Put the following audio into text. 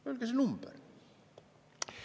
Öelge see number!